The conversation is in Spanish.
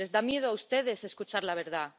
Les da miedo a ustedes escuchar la verdad.